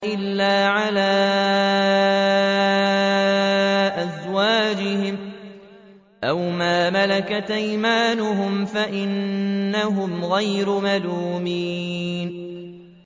إِلَّا عَلَىٰ أَزْوَاجِهِمْ أَوْ مَا مَلَكَتْ أَيْمَانُهُمْ فَإِنَّهُمْ غَيْرُ مَلُومِينَ